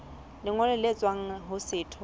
lengolo le tswang ho setho